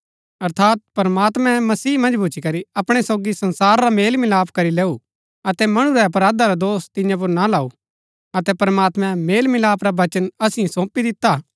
अर्थात प्रमात्मैं मसीह मन्ज भूच्ची करी अपणै सोगी संसारा रा मेलमिलाप करी लेऊ अतै मणु रै अपराधा रा दोष तियां पुर ना लाऊ अतै प्रमात्मैं मेलमिलाप रा वचन असिओ सौंपी दिता हा